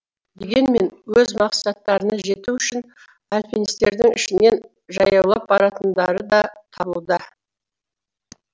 дегенмен өз мақсаттарына жету үшін альпинистердің ішінен жаяулап баратындары да табылуда